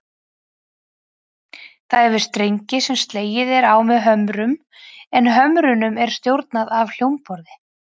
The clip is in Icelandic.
Það hefur strengi sem slegið er á með hömrum, en hömrunum er stjórnað af hljómborði.